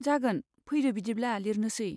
जागोन, फैदो बिदिब्ला लिरनोसै।